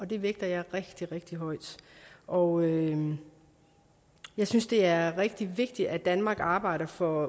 det vægter jeg rigtig rigtig højt og jeg synes det er rigtig vigtigt at danmark arbejder for